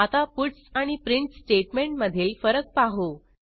आता पट्स आणि प्रिंट स्टेटमेंटमधील फरक पाहू